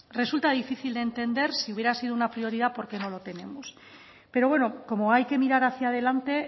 resulta difícil de entender si hubiera sido una prioridad porqué no lo tenemos pero bueno como hay que mirar hacia delante